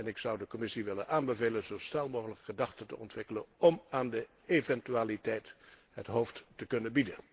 En ik zou de Commissie willen aanbevelen zo snel mogelijk gedachten te ontwikkelen om aan de eventualiteit het hoofd te kunnen bieden.